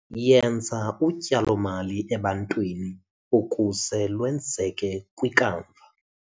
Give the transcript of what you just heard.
Yenza utyalo-mali ebantwini ukuze lwenzeke kwikamva